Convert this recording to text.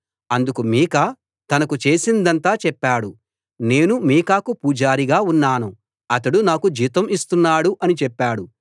అతడు మీకా తనకు చేసిందంతా చెప్పాడు నేను మీకాకు పూజారిగా ఉన్నాను అతడు నాకు జీతం ఇస్తున్నాడు అని చెప్పాడు